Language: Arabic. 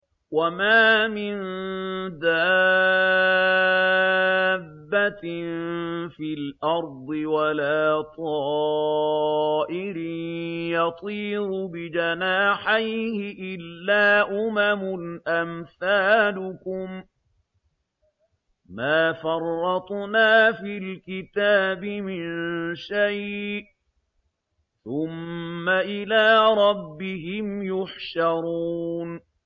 وَمَا مِن دَابَّةٍ فِي الْأَرْضِ وَلَا طَائِرٍ يَطِيرُ بِجَنَاحَيْهِ إِلَّا أُمَمٌ أَمْثَالُكُم ۚ مَّا فَرَّطْنَا فِي الْكِتَابِ مِن شَيْءٍ ۚ ثُمَّ إِلَىٰ رَبِّهِمْ يُحْشَرُونَ